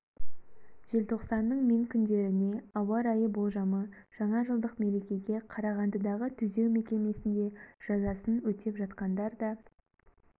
желтоқсанның мен күндеріне ауа райы болжамы жаңа жылдық мерекеге қарағандыдағы түзеу мекемесінде жазасын өтеп жатқандар да